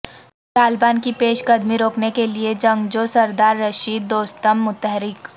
طالبان کی پیش قدمی روکنے کے لیے جنگجو سردار رشید دوستم متحرک